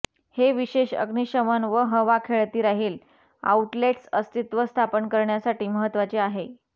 हे विशेष अग्निशमन व हवा खेळती राहील आऊटलेट्स अस्तित्व स्थापन करण्यासाठी महत्वाचे आहे